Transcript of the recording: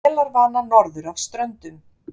Vélarvana norður af Ströndum